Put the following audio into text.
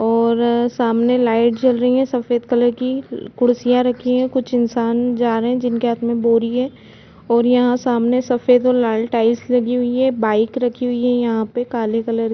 और सामने लाइट जल रही है सफेद कलर की कुर्सियाँ रखी है कुछ इंसान जा रहे है जिनके हाथ में बोरी है और यहाँ सामने सफेद और लाल टाइल्स लगी हुई है बाइक रखी हुई है यहाँ पे काले कलर --